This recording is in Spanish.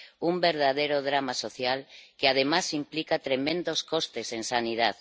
Un verdadero drama social que además implica tremendos costes en sanidad.